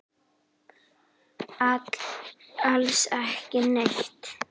Alls ekki neitt.